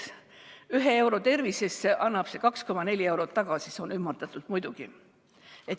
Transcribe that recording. Ühe euro tervisesse investeerimine annab tagasi 2,4 eurot, ümardatult muidugi.